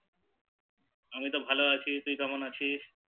আমি তো ভালো আছি তুই কেমন আছিস?